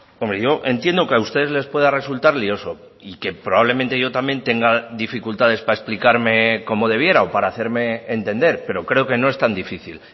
hombre yo entiendo que a ustedes les pueda resultar lioso y que probablemente yo también tenga dificultades para explicarme como debiera o para hacerme entender pero creo que no es tan difícil